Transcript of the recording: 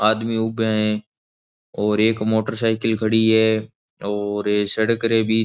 आदमी उबे है और एक मोटरसाइकिल खड़ी है और सड़क रें बीच --